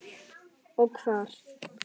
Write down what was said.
Og hvar.